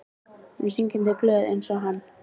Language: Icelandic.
Hún er syngjandi glöð einsog hann.